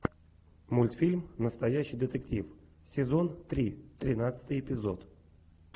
мультфильм настоящий детектив сезон три тринадцатый эпизод